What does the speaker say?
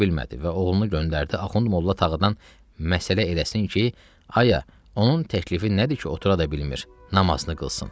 Və oğlunu göndərdi Axund Molla Tağıdan məsələ eləsin ki, aya, onun təklifi nədir ki, otura da bilmir, namazını qılsın?